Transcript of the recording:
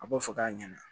A b'o fɔ k'a ɲɛna